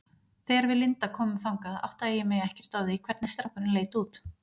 Þegar við Linda komum þangað áttaði ég mig ekkert á því hvernig strákurinn leit út.